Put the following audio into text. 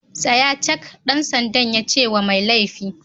Tsaya cak! ɗan sandan yace wa mai laifi.